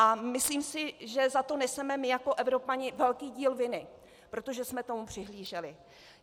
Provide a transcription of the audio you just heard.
A myslím si, že za to neseme my jako Evropané velký díl viny, protože jsme tomu přihlíželi.